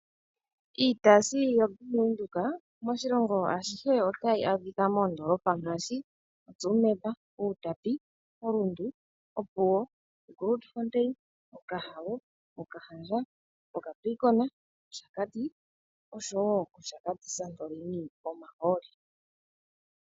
Iitayi yombaanga yaBank Windhoek otayi adhika momahala ngaashi Tsumeb, Outapi, oRundu, Grootfontein, Opuwo, Okahao, Okahandja, Capricorn, Oshakati North nOshakati Santorini service ano pomahooli.